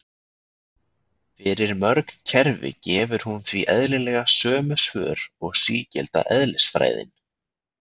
Fyrir mörg kerfi gefur hún því eðlilega sömu svör og sígilda eðlisfræðin.